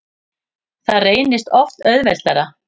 Það reynist oft auðveldara.